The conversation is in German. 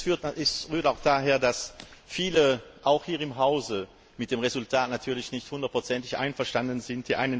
Das rührt auch daher, dass viele auch hier im Hause mit dem Resultat natürlich nicht hundertprozentig einverstanden sind.